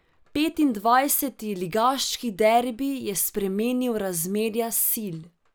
Petindvajseti ligaški derbi je spremenil razmerja sil.